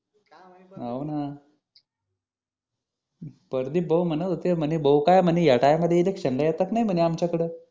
हा हो ना प्रदीप भाऊ म्हणत होते म्हणे भाऊ काय येडा आहे का रे इलेक्शनला येतच नाही आमच्याकड